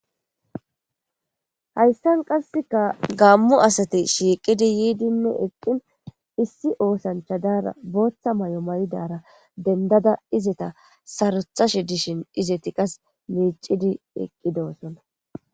hayssan qasseka gammu asati shiiqidi yiidinne eqqin issi oosanchadaara booththa may7o mayidara dendada izeta sarothashe dishin izeti qas miicidi eqqidoosona